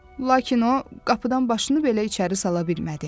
Lakin o, qapıdan başını belə içəri sala bilmədi.